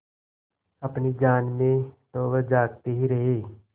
अपनी जान में तो वह जागते ही रहे